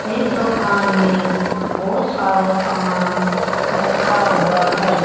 इस दुकान में बहुत सारा सामान रखा हुआ है।